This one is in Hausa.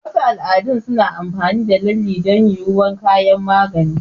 Wasu al'adu suna amfani da lalle don yuwuwar kayan magani.